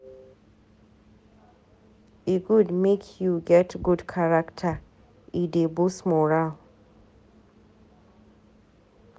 E good make you get good character, e dey boost morale.